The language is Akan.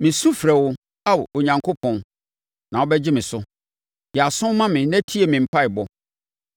Mesu mefrɛ wo, Ao Onyankopɔn na wobɛgye me so; yɛ aso ma me na tie me mpaeɛbɔ.